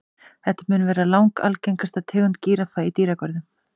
Þetta mun vera langalgengasta tegund gíraffa í dýragörðum.